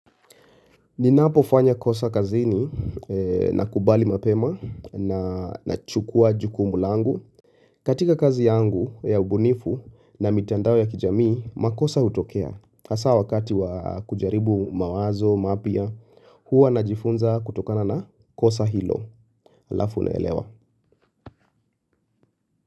Ninapofanya kosa kazini nakubali mapema na nachukuwa jukumul angu. Katika kazi yangu ya ubunifu na mitandao ya kijamii, makosa hutokea. Hasaa wakati wa kujaribu mawazo mapya, huwa najifunza kutokana na kosa hilo, halafu naelewa.